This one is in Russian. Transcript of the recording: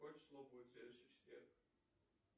какое число будет в следующий четверг